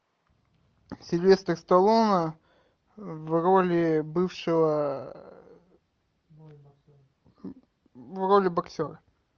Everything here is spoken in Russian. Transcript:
сильвестр сталлоне в роли бывшего в роли боксера